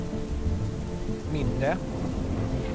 mindre